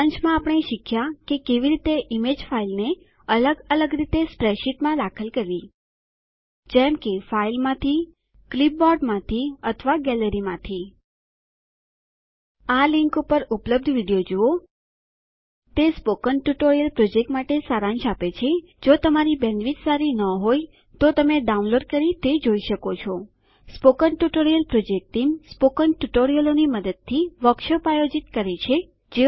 સારાંશમાં આપણે શીખ્યા કે કેવી રીતે ઈમેજ ફાઈલને અલગ અલગ રીતે સ્પ્રેડશીટમાં દાખલ કરવી જેમ કે ફાઈલમાંથી ક્લીપબોર્ડમાંથી અથવા ગેલેરીમાંથી આ લીંક ઉપર ઉપલબ્ધ વિડીયો જુઓ તે સ્પોકન ટ્યુટોરીયલ પ્રોજેક્ટ માટે સારાંશ આપે છે જો તમારી બેન્ડવિડ્થ સારી ન હોય તો તમે ડાઉનલોડ કરી તે જોઈ શકો છો spoken tutorial project team spoken ટ્યુટોરીયલોની મદદથી વર્કશોપ આયોજિત કરે છે